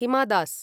हिमा दास्